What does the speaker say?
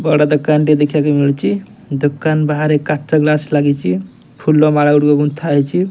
ବଡ ଦୋକାନଟି ଦେଖିବାକୁ ମିଳୁଛି ଦୋକାନ ବାହାରେ କାଚ ଗ୍ଲାସ ଲାଗିଛ ଫୁଲ ମାଳ ଗୁଡିକ ଗୁନ୍ଥା ହେଇଛି।